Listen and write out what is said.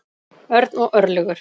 Örn og Örlygur.